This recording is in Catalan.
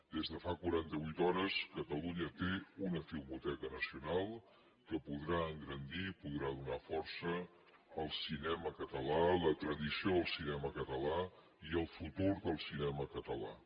des de fa quaranta vuit hores catalunya té una filmoteca nacional que podrà engrandir i podrà donar força al cinema català a la tradició del cinema català i al futur del cinema català